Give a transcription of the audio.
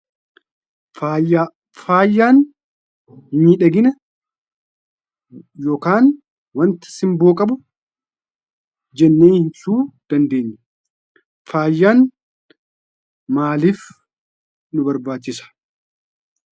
Faayyaa: Faayyaan miidhagina yookaan wanta simboo qabu jennee ibsuu dandeenya. Faayyaan maaliif nu barbaachisa?